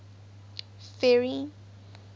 ferry